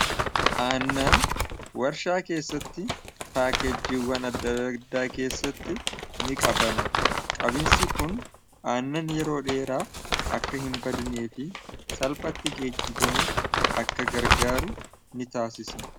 aannan warshaa keessatti paakeejiiwwan addaaddaa keessatti ni qabama qabinsi kun aannan yeroo dheeraa akka hin badnee fi salphatti geejjibamuuf akka gargaaru ni taasisa